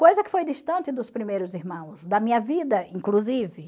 Coisa que foi distante dos primeiros irmãos, da minha vida, inclusive.